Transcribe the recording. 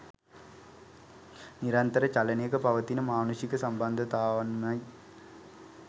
නිරන්තර චලනයක පවතින මානුෂික සම්බන්ධතාවන්මයි.